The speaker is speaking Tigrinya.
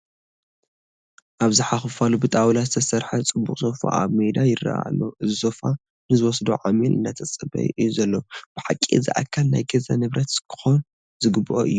ኣብዝሓ ክፋሉ ብጣውላ ዝተሰርሐ ፅቡቕ ሶፋ ኣብ ሜዳ ይርአ ኣሎ፡፡ እዚ ሶፋ ንዝወስዶ ዓሚል እናተፀበየ እዩ ዘሎ፡፡ ብሓቂ እዚ ኣካል ናይ ገዛ ንብረት ክኾን ዝግብኦ እዩ፡፡